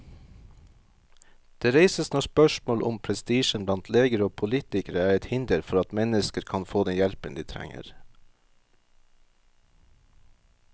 Det reises nå spørsmål om prestisjen blant leger og politikere er et hinder for at mennesker kan få den hjelpen de trenger.